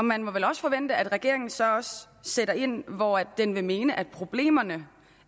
man må vel også forvente at regeringen så også sætter ind hvor den vil mene er problemer